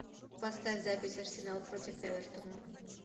поставь запись арсенал против эвертона